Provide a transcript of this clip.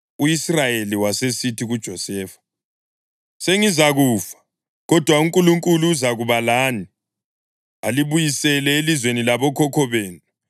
U-Israyeli wasesithi kuJosefa, “Sengizakufa, kodwa uNkulunkulu uzakuba lani, alibuyisele elizweni labokhokho benu.